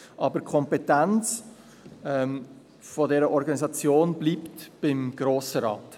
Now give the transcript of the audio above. Die Kompetenz der Organisation bleibt aber beim Grossen Rat.